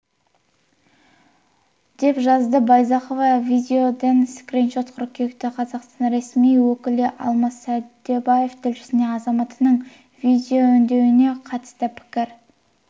деп жазады байзақова видеоүндеуден скриншот қыркүйекте қазақстан ресми өкілі алмас сәдубаев тілшісіне азаматының видеоүндеуіне қатысты пікір